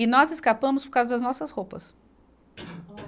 E nós escapamos por causa das nossas roupas.